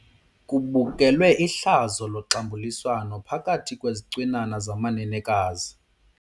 Kubukelwe ihlazo loxambuliswano phakathi kwezicwinana zamanenekazi.